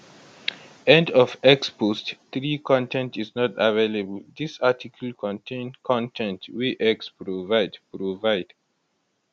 end of x post 3 con ten t is not available dis article contain con ten t wey x provide provide